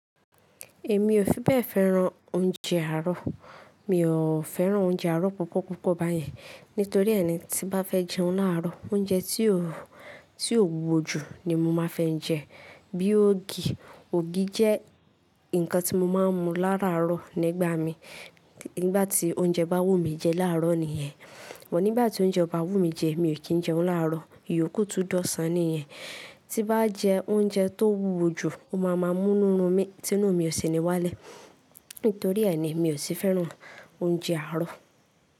Èmi ò fi bẹ́ẹ̀ fẹ́ran oúnjẹ àárọ̀. Mi ò fẹ́ran oúnjẹ àárọ̀ púpọ̀ púpọ̀ báyẹn. Nítorí ẹ̀ ni tí n bá fẹ́ jẹun láàárọ̀, oúnjẹ tí ò, tí ò wúwo jù ni mo máa ń fẹ́ jẹ. Bí ògì, ògì jẹ́ nǹkan tí mo máa ń mu láràárọ̀ nígbà míì. Nígbà tí oúnjẹ bá wù mí jẹ láàárọ̀ nìyẹn. But nígbà tí oúnjẹ ò bá wù mí jẹ, mi ò kí ń jẹun láàárọ̀, ìyòókù tún dọ̀san nìyẹn. Tí n bá jẹ oúnjẹ tó wúwo jù, ó máa máa múnú run mí, tínú mi ò sì ní wálẹ̀. Nítorí ẹ̀ ni mi ò ṣe fẹ́ràn oúnjẹ àárọ̀